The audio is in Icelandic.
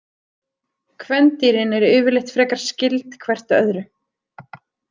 Kvendýrin eru yfirleitt frekar skyld hvert öðru.